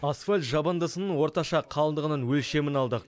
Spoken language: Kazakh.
асфальт жабындысының орташа қалыңдығының өлшемін алдық